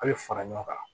A' bɛ fara ɲɔgɔn kan